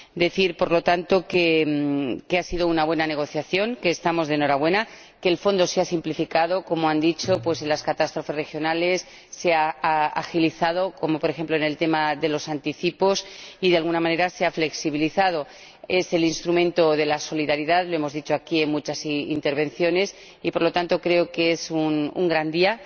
Cabe decir, por lo tanto, que ha sido una buena negociación, que estamos de enhorabuena, que el Fondo se ha simplificado —como han dicho— en las catástrofes regionales, se ha agilizado, como, por ejemplo, en el tema de los anticipos, y, de alguna manera, se ha flexibilizado. Es el instrumento de la solidaridad, lo hemos dicho aquí en muchas intervenciones, y, por lo tanto, creo que hoy es un gran día.